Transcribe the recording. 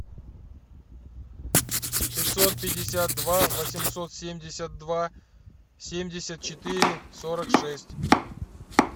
пятьсот пятьдесят два восемьсот семьдесят два семьдесят четыре сорок шесть